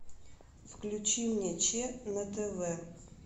включи мне че на тв